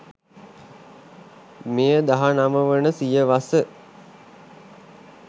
මෙය දහනව වන සියවස